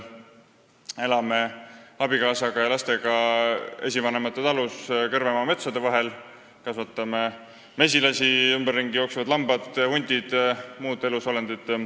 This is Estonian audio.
Elan abikaasa ja lastega esivanemate talus Kõrvemaa metsade vahel, kus kasvatame mesilasi ning kus ümberringi jooksevad lambad, hundid ja muud elusolendid.